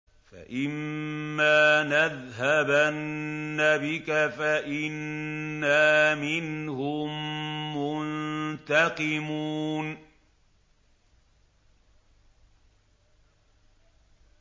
فَإِمَّا نَذْهَبَنَّ بِكَ فَإِنَّا مِنْهُم مُّنتَقِمُونَ